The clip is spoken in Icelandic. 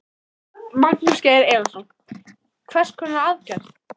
Magnús Geir Eyjólfsson: Hvers konar aðgerða?